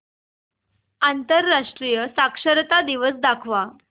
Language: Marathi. आंतरराष्ट्रीय साक्षरता दिवस दाखवच